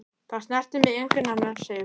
Það snertir mig enginn annar, segir hún.